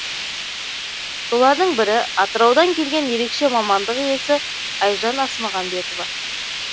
солардың бірі атыраудан келген ерекше мамандық иесі айжан асмағамбетова